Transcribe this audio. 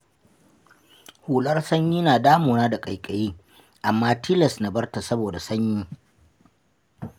Hular sanyi na damuna da ƙaiƙayi, amma tilas na barta saboda sanyi.